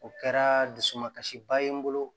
O kɛra dusukasiba ye n bolo